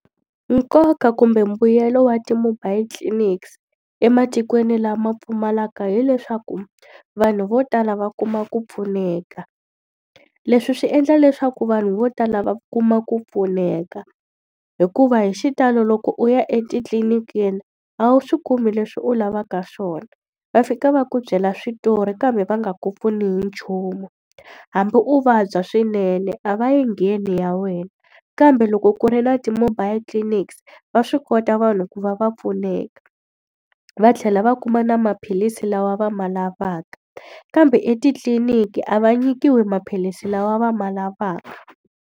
Nkoka kumbe mbuyelo wa ti-mobile clinics ematikweni lama pfumalaka hi leswaku, vanhu vo tala va kuma ku pfuneka. Leswi swi endla leswaku vanhu vo tala va kuma ku pfuneka. Hikuva hi xitalo loko u ya etitliniki a wu swi kumi leswi u lavaka swona, va fika va ku byela switori kambe va nga ku pfuni hi nchumu. Hambi u vabya swinene a va yi ngheni ya wena. Kambe loko ku ri na ti-mobile clinics va swi kota vanhu ku va va pfuneka, va tlhela va kuma na maphilisi lawa va ma lavaka. Kambe etitliniki a va nyikiwi maphilisi lawa va ma lavaka.